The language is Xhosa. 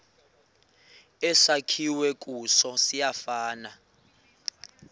esakhiwe kuso siyafana